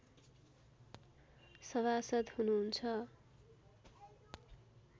सभासद् हुनुहुन्छ